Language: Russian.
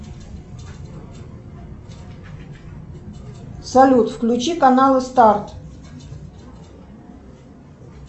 салют включи каналы старт